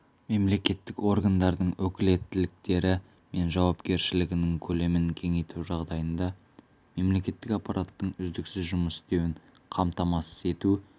мемлекеттік органдардың өкілеттіктері мен жауапкершілігінің көлемін кеңейту жағдайында мемлекеттік аппараттың үздіксіз жұмыс істеуін қамтамасыз ету